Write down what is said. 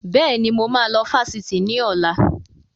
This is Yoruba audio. Bẹ́ẹ̀ni, mo máa lọ sí Fáṣítì ni ọ̀la.